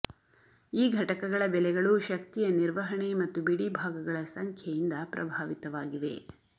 ಈ ಘಟಕಗಳ ಬೆಲೆಗಳು ಶಕ್ತಿಯ ನಿರ್ವಹಣೆ ಮತ್ತು ಬಿಡಿಭಾಗಗಳ ಸಂಖ್ಯೆಯಿಂದ ಪ್ರಭಾವಿತವಾಗಿವೆ